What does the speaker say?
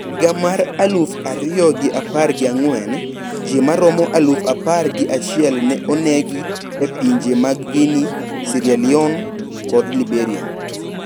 Higa mar aluf ariyo gi apar gi ang`wen, ji maromo aluf apar gi achiel ne onegi e pinje mag Guinea, Sierra Leone kod Liberia.